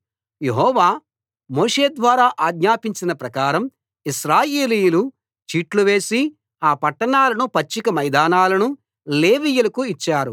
యెహోవా మోషే ద్వారా ఆజ్ఞాపించిన ప్రకారం ఇశ్రాయేలీయులు చీట్లు వేసి ఆ పట్టణాలను పచ్చిక మైదానాలను లేవీయులకు ఇచ్చారు